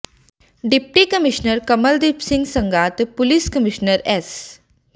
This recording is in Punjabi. ਡਿਪਟੀ ਕਮਿਸ਼ਨਰ ਕਮਲਦੀਪ ਸਿੰਘ ਸੰਘਾ ਤੇ ਪੁਲਿਸ ਕਮਿਸ਼ਨਰ ਐਸ